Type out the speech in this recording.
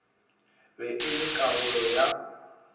be e le karolo ya